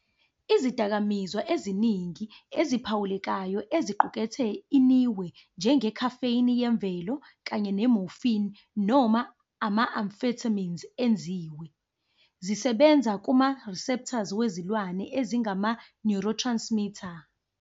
Izidakamizwa eziningi eziphawulekayo eziqukethe inihwe, njenge-caffeine," yemvelo kanye ne-morphine," noma ama-amphetamines," enziwe, zisebenza kuma-receptors wezilwane ezingama-neurotransmitter.